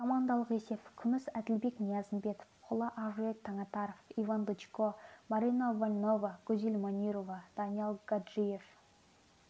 командалық есеп күміс әділбек ниязымбетов қола ақжүрек таңатаров иван дычко марина вольнова гүзель манюрова даниял гаджиев